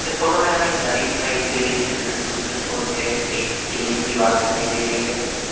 इस फोटो मे हमे एक नदी दिखाई दे रही है जिसके दूसरे छोर पे एक किले की दीवाल दिखाई दे रही है।